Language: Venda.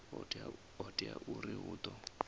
ho teaho uri hu ḓo